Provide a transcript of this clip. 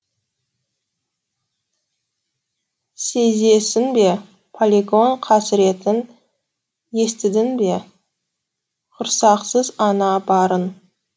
сезесің бе полигон қасіретін естідің бе құрсақсыз ана барын